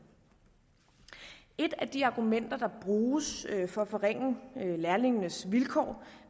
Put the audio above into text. et af de argumenter der bruges for at forringe lærlingenes vilkår